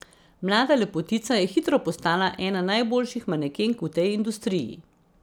Mlada lepotica je hitro postala ena najboljših manekenk v tej industriji.